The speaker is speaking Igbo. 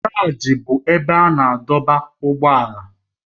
Garaji bụ ebe a na-adọba ụgbọala.